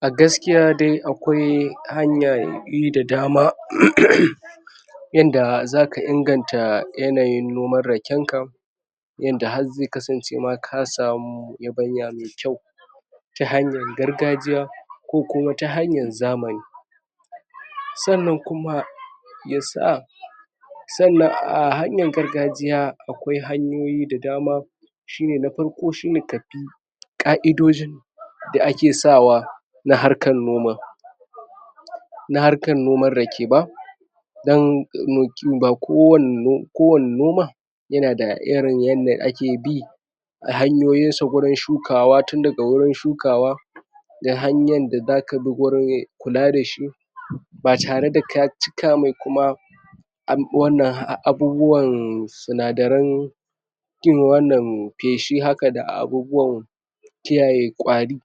a gaskiya dai a kwai hanyan bi da dama uuuummmm yadda za ka inganta yanayin noman rakenka yadda har zai kasance ka samu yabanya mai kyau ta hanyan gargajiya kokuma ta hanyar zamani sannan kuma ya sa sannan a hanyan gargajiya awai hanyoyi da dama shi ne na farko shi ne kabi ka'idojin da ake sawa na harkon noma na harkan noman rake ba dan ba kowa kowa kowani noma yana da irin yadda ake bi a hanyoyin sa wurin shukawa tindaga wurin shukawa da hanyan da za ka bi wurin kula da shi ba tare da ka cika mai kuma af'abwannan abubuwan sina dare irin wannamm, faishi haka da abubuwann kiyaye kwari